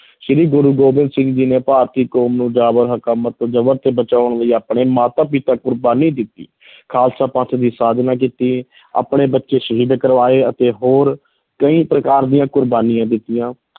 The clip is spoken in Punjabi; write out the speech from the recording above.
ਸ੍ਰੀ ਗੁਰੂ ਗੋਬਿੰਦ ਸਿੰਘ ਜੀ ਨੇ ਭਾਰਤੀ ਕੌਮ ਨੂੰ ਜਾਬਰ ਹਕੂਮਤ ਜਬਰ ਤੋਂ ਬਚਾਉਣ ਲਈ ਆਪਣੇ ਮਾਤਾ ਪਿਤਾ ਕੁਰਬਾਨੀ ਦਿੱਤੀ ਖਾਲਸਾ ਪੰਥ ਦੀ ਸਾਜਨਾ ਕੀਤੀ ਆਪਣੇ ਬੱਚੇ ਸ਼ਹੀਦ ਕਰਵਾਏ ਅਤੇ ਹੋਰ ਕਈ ਪ੍ਰਕਾਰ ਦੀਆਂ ਕੁਰਬਾਨੀਆਂ ਦਿੱਤੀਆਂ।